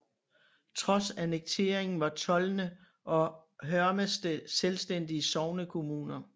Trods annekteringen var Tolne og Hørmested selvstændige sognekommuner